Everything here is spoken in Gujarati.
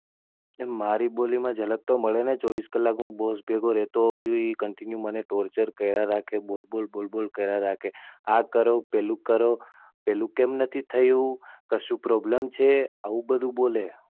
એમ મારી બોલી મા જલક તો મળે જ ને ચોવીસ કલાક હું Boss ભેગો રહેતો હોઉં છુ. એ Continue મને Toucher કર્યા રાખે છે. કે બોલ બોલ બોલ બોલ કર્યા રાખે છે કે, આ કરો પેલું કરો, પેલું કેમ નથી થયું? કશું Problem છે? આવું બધું બોલે.